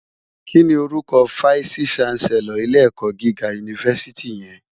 Kini órúkò fáìsí ṣánsèlòr ilé èkò gigá unifásìtí yèn?